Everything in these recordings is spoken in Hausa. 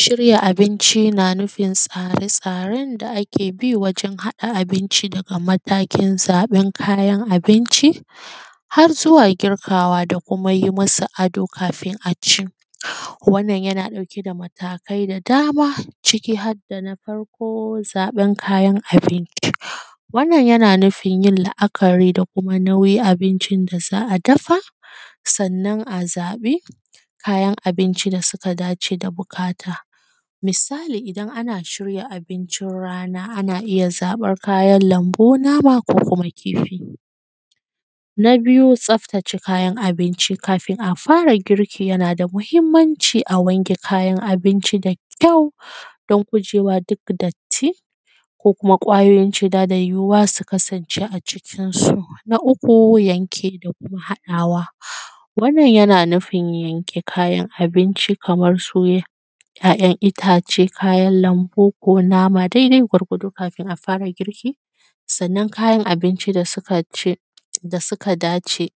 Shirya abinci na nufin tsare tsaren da ake bi wajen haɗa abinci daga matakin zaɓen kayan abinci har zuwa girkawa a kuma yi musu ado kafin a ci wannan yana ɗauke da matakai da dama ciki har da na farko zaɓen kayan abinci, wannan yana nufin yin la`akari da kuma nauyin abincin da za a dafa sannan a zaɓi kayan abincin da suka dace da buƙata, misali idan ana shirya abincin rana ana iya zaɓan kayan lambu, nama ko kuma kifi, na biyu tsaftace kayan abinci, kafin a fara girki yana da mahimmaanci a wake kayan abinci da kyau dan gujewa duk datti ko kuma ƙwayoyin cuta da yuwuwa ya kasance a cikin su, na uku, yanke da kuma haɗawa, wanna yana nufin yanke kayan abinci kamar su `ya`yan itace, kayan lambu ko nama daidai gwargwado kafin a fara girki, sannan kayan abinci da suka ce da suka dace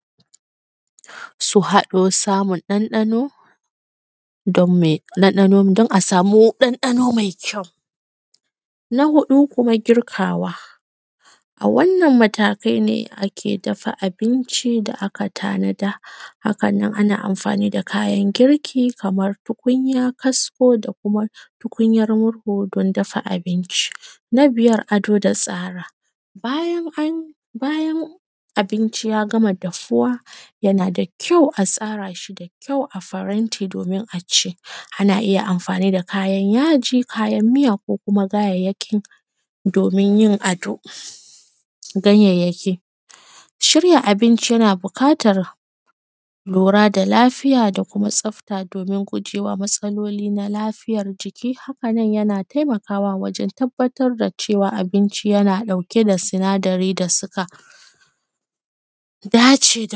su haɗo samun ɗanɗano don me ɗanɗa don a samu ɗanɗano mai kyau, na huɗu kuma girkawa, a wannan matakai ne ake dafa abinci da aka tanada haka nan ana amfani da kayan girki kaman tukunya, kasko da kuma tukunyar murhu don dafa abinci, na biyar, ado da tsara, bayan an bayan abinci ya gama dafuwa yana da kyau a tsara shi da kyau a faranti domin a ci, ana iya mafani da kayan yaji, kayan miya ko kuma kayayyakin domin yin ado, ganyayyaki, shirya abinci yana buƙatar lura da lafiya da kuma tsafta domin gujewa matsaloli na lafiyar jiki haka nan yana taimakawa wajen tabbatar da cewa abinci yana ɗauke da sinadari suka dace,